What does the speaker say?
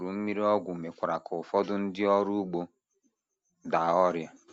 Ikuru mmiri ọgwụ mekwara ka ụfọdụ ndị ọrụ ugbo daa ọrịa.